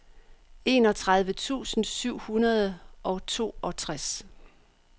enogtredive tusind syv hundrede og toogtres